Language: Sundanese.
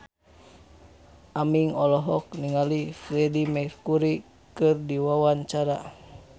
Aming olohok ningali Freedie Mercury keur diwawancara